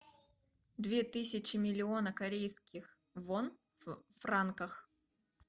две тысячи миллиона корейских вон в франках